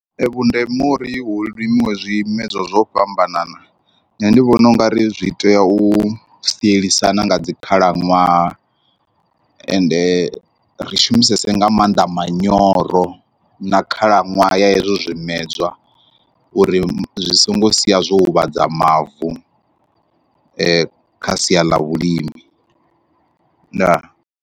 Vhundeme uri hu limiwa zwimedzwa zwo fhambanana nṋe ndi vhona ungari zwi tea u sielisana nga dzi khalaṅwaha, ende ri shumisesa nga maanḓa maanḓa manyora na khalaṅwaha ya hezwo zwimedzwa uri zwi songo sia zwo huvhadza mavu aye kha sia ḽa vhulimi ndaa.